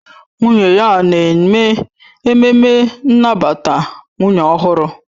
Nwunye ya na-eme ememme nnabata nwunye ọhụrụ